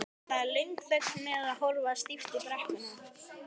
Það er löng þögn meðan við horfum stíft á brekkuna.